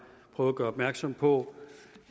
prøvet at gøre opmærksom på